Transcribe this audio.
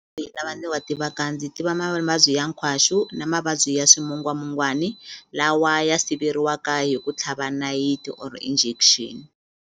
Lawa ni wa tivaka ndzi tiva mavabyi ya nkhwaxu na mavabyi ya swimungwamungwani lawa ya siveriwaka hi ku tlhava nayiti or injection.